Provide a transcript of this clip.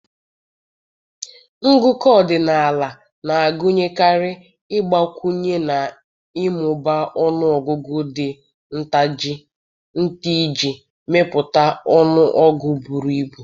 Ngụkọ ọdịnala na-agụnyekarị ịgbakwụnye na ịmụba ọnụ ọgụgụ dị nta iji mepụta ọnụọgụ buru ibu